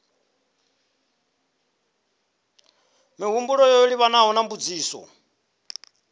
mihumbulo yo livhanaho na mbudziso